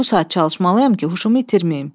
Bu saat çalışmalıyam ki, huşumu itirməyim.